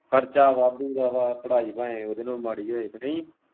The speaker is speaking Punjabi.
ਖਰਚਾ ਵਾਧੂ ਦਾ ਵਾਂ ਪੜਾਈ ਭਾਵੇਂ ਉਹਦੇ ਨਾਲੋਂ ਵੀ ਮਾੜੀ ਹੋਵੇ ਕਿ ਨਹੀਂ।